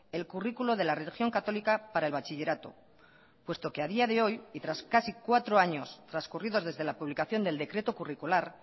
el currículo de la religión católica para el bachillerato puesto que a día de hoy y tras casi cuatro años trascurridos desde la publicación del decreto curricular